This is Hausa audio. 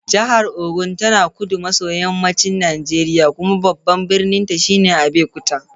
Jihar Ogun tana kudu maso yammacin Najeriya, kuma babban birninta shine Abeokuta.